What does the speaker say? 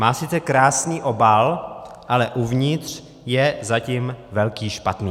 Má sice krásný obal, ale uvnitř je zatím velký špatný.